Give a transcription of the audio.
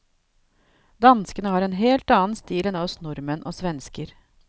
Danskene har en helt annen stil enn oss nordmenn og svensker.